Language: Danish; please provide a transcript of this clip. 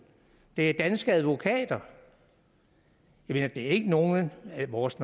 det er danske advokater det er ikke nogen af vores